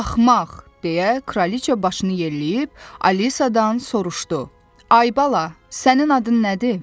Axmaq, – deyə kraliç başını yelləyib Alisadan soruşdu: Ay bala, sənin adın nədir?